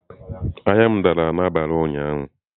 Ahịa ahịa dara n'abalị ụnyaahụ.